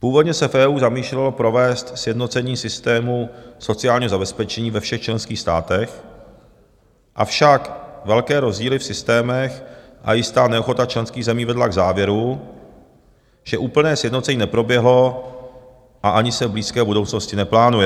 Původně se v EU zamýšlelo provést sjednocení systému sociálního zabezpečení ve všech členských státech, avšak velké rozdíly v systémech a jistá neochota členských zemí vedla k závěru, že úplné sjednocení neproběhlo a ani se v blízké budoucnosti neplánuje."